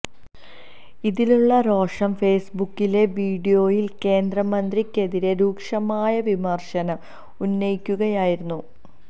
ഇതിലുള്ള രോഷം ഫെയ്സ്ബുക്കിലെ വീഡിയോയിൽ കേന്ദ്ര മന്ത്രിയ്ക്കെതിരെ രൂക്ഷമായ വിമർശനം ഉന്നയിക്കുകയായിരുന്നു